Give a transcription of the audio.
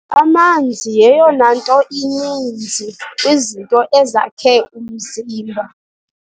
Amanzi yeyona nto ininzi kwizinto ezakhe umzimba.